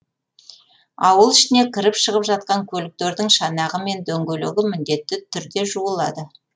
ауыл ішіне кіріп шығып жатқан көліктердің шанағы мен дөңгөлегі міндетті түрде жуылады